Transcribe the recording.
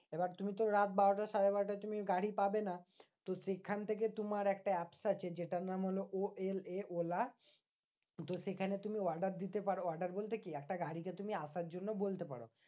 এবার তুমি তো রাত বারোটা সাড়ে বারোটায় তুমি গাড়ি পাবেনা। তো সেখান থেকে তোমার একটা apps আছে যেটা নাম হলো ও এল এ ওলা। তো সেখানে তুমি order দিতে পারো order বলতে কি? একটা গাড়িকে তুমি আসার জন্য বলতে পারো।